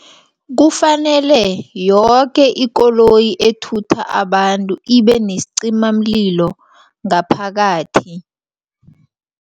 Kufanele yoke ikoloyi ethutha abantu ibenesicimamlilo ngaphakathi.